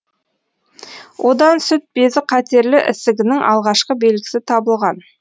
одан сүт безі қатерлі ісігінің алғашқы белгісі табылған